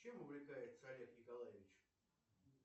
чем увлекается олег николаевич